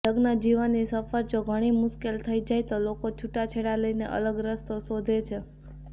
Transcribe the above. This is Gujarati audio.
લગ્નજીવનની સફર જો ઘણી મુશ્કેલ થઈ જાય તો લોકો છૂટાછેડા લઇને અલગ રસ્તો શોધે છે